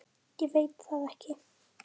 Ég veit það ekki!